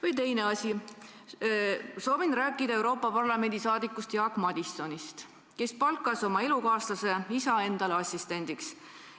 Või teine asi: ma soovin rääkida Euroopa Parlamendi liikmest Jaak Madisonist, kes palkas oma elukaaslase isa endale assistendiks.